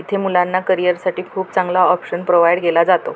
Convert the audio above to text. इथे मुलाना करियर साठी खूप चांगला ऑप्शन प्रोव्हाइड केला जातो.